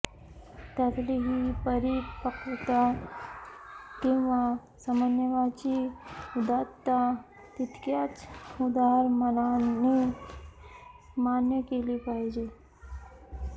त्यातली ही परिपक्वता किंवा समन्वयाची उदात्तता तितक्याच उदार मनाने मान्य केली पाहिजे